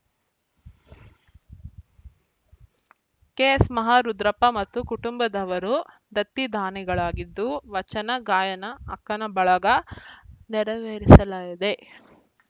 ಕೆಎಸ್‌ಮಹಾರುದ್ರಪ್ಪ ಮತ್ತು ಕುಟುಂಬದವರು ದತ್ತಿದಾನಿಗಳಾಗಿದ್ದು ವಚನ ಗಾಯನ ಅಕ್ಕನ ಬಳಗ ನೆರವೇರಿಸಲಿದೆ